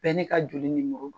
Bɛɛ n'i ka joli nimoro.